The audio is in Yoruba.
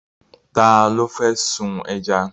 Ta ló fẹ́ sun ẹja?